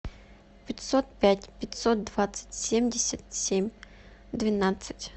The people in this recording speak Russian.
пятьсот пять пятьсот двадцать семьдесят семь двенадцать